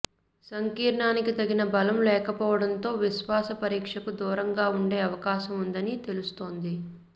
సంకీర్ణానికి తగిన బలం లేకపోవడంతో విశ్వాస పరీక్షకు దూరంగా ఉండే అవకాశం ఉందని తెలుస్తోంది